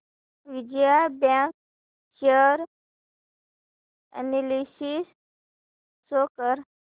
Vijaya Bank share analysis show कर